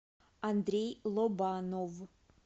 андрей лобанов